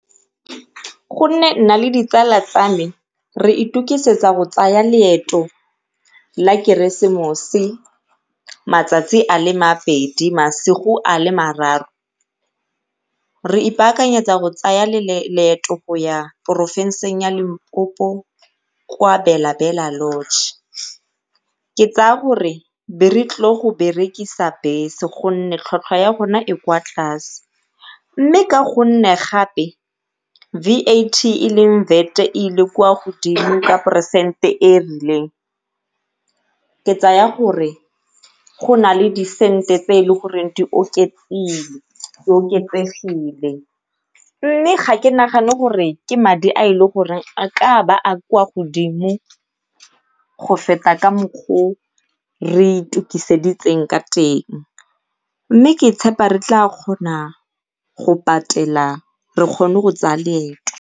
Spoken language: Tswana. Gonne nna le ditsala tsa me re itukisetsa go tsaya leeto la keresemose matsatsi a le mabedi, masigo a le mararo. Re ipaakanyetsa go tsaya leeto go ya porofenseng ya Limpopo kwa Bela Bela lodge, ke tsaya gore be re tlile go berekisa bese gonne tlhwatlhwa ya bone e kwa tlase. Mme ka gonne gape V_A_T e leng VAT e ile kwa godimo ka poresente e e rileng tse tsaya gore go nale di sente tse e le goreng di oketsegile, mme ga ke nagane gore ke madi a e ka ba a kwa godimo go feta ka mokgwa o re itukiseditseng ka teng mme ke tshepa re tla kgona go patela re kgone go tsaya loeto.